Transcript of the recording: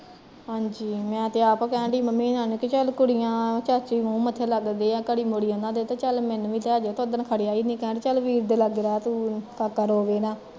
ਹਾਂਜੀ ਮੈਂ ਤੇ ਆਪ ਕਹਿਣ ਡਈ ਮੰਮੀ ਹੁਣਾ ਨੂੰ ਕਿ ਚੱਲ ਕੁੜੀਆ ਚਾਚੀ ਮੁਹ ਮੱਥੇ ਲੱਗਦੇ ਆ ਘੜੀ ਮੁੜੀ ਉਹਨਾਂ ਦੇ ਤੇ ਚੱਲ ਮੈਨੂੰ ਵੀ ਲੇਜੀਓ ਤੇ ਉੱਦਨ ਖੜਿਆ ਨੀ, ਕਹਿੰਦੇ ਚੱਲ ਵੀਰ ਦੇ ਲਾਗੇ ਰਹਿ ਤੂੰ ਕਾਕਾ ਰੋਵੈ ਨਾ